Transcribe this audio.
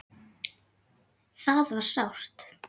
Það var sárt.